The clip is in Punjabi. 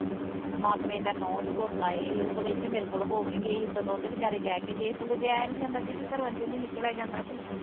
ਮਾਮੇ ਦਾ ਨੂੰਹ ਤੇ ਪੁੱਤ ਆਏ ਹੀ ਉਹ ਸਗੋਂ ਇਥੇ ਮੇਰੇ ਕੋਲੋ ਹੋ ਕੇ ਗਏ ਹੀ ਸਗੋਂ ਤੇ ਉਹ ਵਿਚਾਰੇ ਕਹਿ ਕੇ ਗਏ ਸਗੋਂ ਜਾਇਆ ਨੀ ਜਾਂਦਾ ਦੀਦੀ ਘਰਾਂ ਵਿਚੋਂ ਨੀ ਨੀ ਨਿਕਲਿਆ ਜਾਂਦਾ ਤੇ